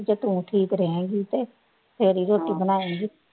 ਜੇ ਤੂੰ ਠੀਕ ਰਹੇਂਗੀ ਤੇ ਫੇਰ ਹੀ ਰੋਟੀ ਬਣਾਏਗੀਂ।